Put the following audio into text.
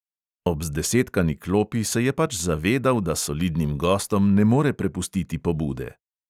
Ob zdesetkani klopi se je pač zavedal, da solidnim gostom ne more prepustiti pobude.